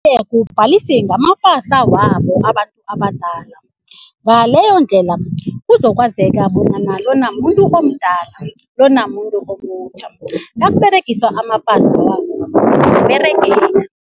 kubhadalise ngamapasa wabo abantu abadala ngaleyondlela kuzokwazeka bonyana [cs lona muntu omdala lona muntu omutjha nakuberegiswa amapasa wabo